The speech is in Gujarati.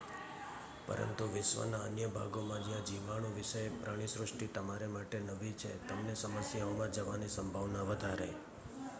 પરંતુ વિશ્વના અન્ય ભાગોમાં જ્યાં જીવાણુ વિષયક પ્રાણીસૃષ્ટિ તમારા માટે નવી છે તમને સમસ્યાઓમાં જવાની સંભાવના વધારે